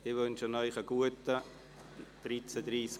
Ich wünsche Ihnen einen guten Appetit.